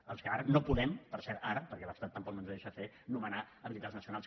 dels que ara no podem per cert ara perquè l’estat tampoc no ens ho deixa fer nomenar habilitats nacionals